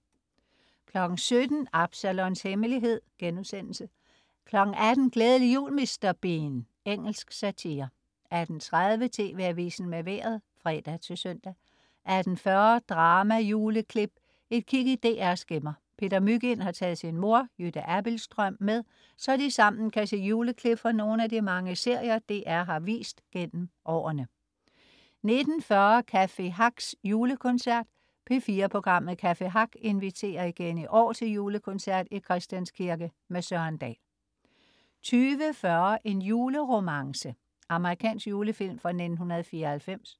17.00 Absalons Hemmelighed* 18.00 Glædelig jul Mr. Bean. Engelsk satire 18.30 TV Avisen med Vejret (fre-søn) 18.40 Drama juleklip, et kig i DR's gemmer. Peter Mygind har taget sin mor, Jytte Abildstrøm, med, så de sammen kan se juleklip fra nogle af de mange serier, DR har vist gennem årene 19.40 Café Hacks julekoncert. P4-programmet "Café Hack" inviterer igen i år til julekoncert i Christians Kirke med Søren Dahl 20.40 En juleromance. Amerikansk julefilm fra 1994